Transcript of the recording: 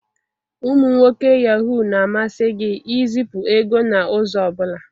Ụmụ nwoke Yahoo na-amasị gị izipu ego n'ụzọ ọ bụla